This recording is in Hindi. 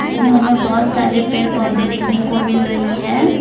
इसमें हमें बहोत सारे पेड़ पौधे देखने को मिल रही है।